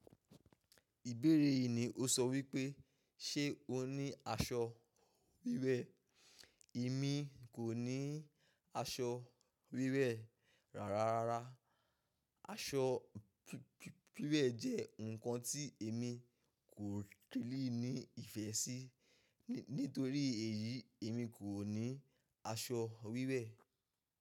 Ìbéèrè yìí ni ó sọ wípé, "ṣé o ní aṣọ wíwẹ̀?" Èmi kò ní aṣọ wíwẹ̀ rárá. Aṣọ wíwẹ̀ jẹ́ nǹkan tí èmi kò kílì ní ìfẹ́ sí. Nítorí èyí, èmi kò ní aṣọ wíwẹ̀.